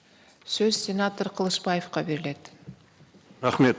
сөз сенатор қылышбаевқа беріледі рахмет